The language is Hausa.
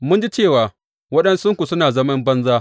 Mun ji cewa waɗansunku suna zaman banza.